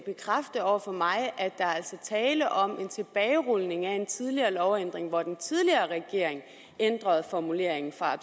bekræfte over for mig at der altså er tale om en tilbagerulning af en tidligere lovændring hvor den tidligere regering ændrede formuleringen fra